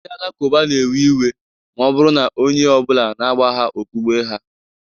Ndị Alakụba na-ewe iwe ma ọ bụrụ na onye ọ bụla na-agbagha okpukpe ha.